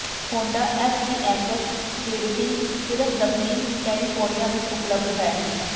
Honda FCX Clarity ਸਿਰਫ ਦੱਖਣੀ California ਵਿਚ ਉਪਲਬਧ ਹੈ